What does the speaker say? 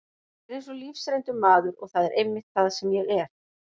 Ég er eins og lífsreyndur maður og það er einmitt það sem ég er.